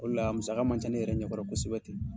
O de la a munsaga ma ca ne yɛrɛ ɲɛkɔrɔ kosɛbɛ ten.